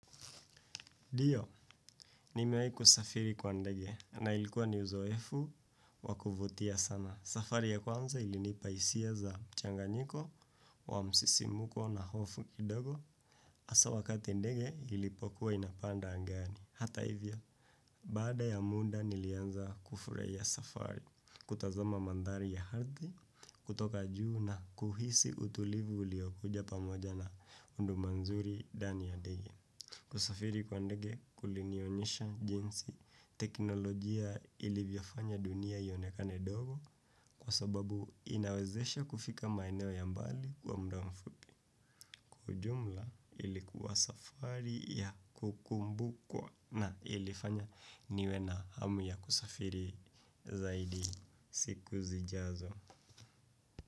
Ndiyo, nimewahi kusafiri kwa ndege na ilikuwa ni uzoefu wa kuvutia sana. Safari ya kwanza ilinipa hisia za mchanganyiko wa msisimko na hofu kidogo hasaa wakati ndege ilipokuwa inapanda angani. Hata hivyo, baada ya muda nilianza kufurahia safari, kutazama mandhari ya ardhi, kutoka juu na kuhisi utulivu uliyokuja pamoja na huduma nzuri ndani ya ndege. Kusafiri kwa ndege kulinionyesha jinsi teknolojia ilivyofanya dunia ionekane ndogo kwa sababu inawezesha kufika maeneo ya mbali kwa muda mfupi. Kwa ujumla ilikuwa safari ya kukumbukwa na ilifanya niwe na hamu ya kusafiri zaidi siku zijazo.